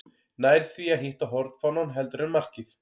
Nær því að hitta hornfánann heldur en markið.